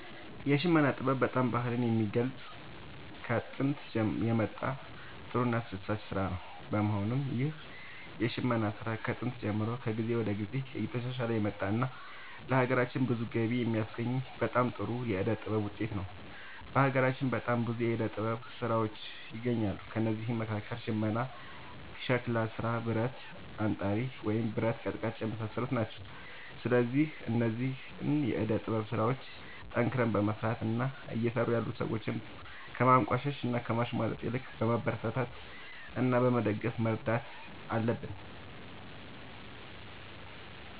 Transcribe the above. የሽመና ጥበብ በጣም ባህልን የሚገልፅ ከጦንት የመጣ ጥሩ እና አስደሳች ስራ ነው በመሆኑም ይህ የሽመና ስራ ከጥንት ጀምሮ ከጊዜ ወደ ጊዜ እየተሻሻለ የመጣ እና ለሀገራችንም ብዙ ገቢ የሚያስገኝ በጣም ጥሩ የዕደ ጥበብ ውጤት ነው። በሀገራችን በጣም ብዙ የዕደ ጥበብ ስራዎች ይገኛሉ ከእነዚህም መካከል ሽመና ሸክላ ስራ ብረት አንጣሪ ወይም ብረት ቀጥቃጭ የመሳሰሉት ናቸው። ስለዚህ እነዚህን የዕደ ጥበብ ስራዎች ጠንክረን በመስራት እና እየሰሩ ያሉትን ሰዎች ከማንቋሸሽ እና ከማሽሟጠጥ ይልቅ በማበረታታት እና በመደገፍ መርዳት አለብን